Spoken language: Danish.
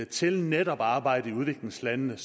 til netop arbejdet i udviklingslandene